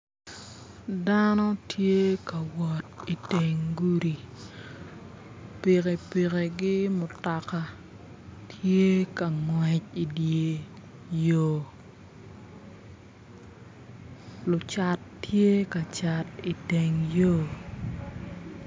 Dano tye ka wot iteng gudi pikipikigi mutoka tye ka ngwec i dyer yo lucat tye ka cat iteng yo